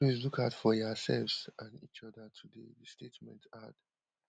please look out for yoursefs and each oda today di statement add